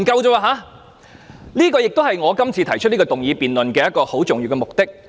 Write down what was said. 這也是我今天動議這項議案的一個重要目的。